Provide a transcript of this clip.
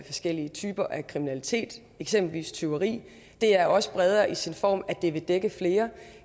forskellige typer af kriminalitet eksempelvis tyveri det er også bredere i sin form at det vil dække flere